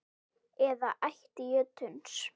eða ætt jötuns